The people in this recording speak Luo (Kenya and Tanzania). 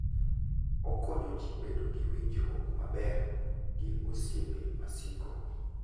Okonyo ji bedo gi winjruok maber gi osiepe masiko.